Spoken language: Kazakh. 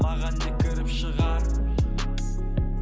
маған не кіріп шығар